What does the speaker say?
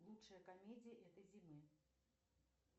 лучшая комедия этой зимы